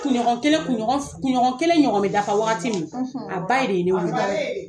ɲɔgɔn kelen ɲɔgɔn bɛ dafa waati min a ba ye de wele